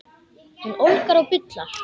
Hún ólgar og bullar.